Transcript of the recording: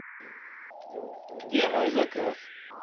где мой заказ